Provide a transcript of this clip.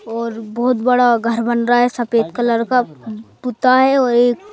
और बहुत बड़ा घर बन रहा है सफेद कलर का पुता है और एक--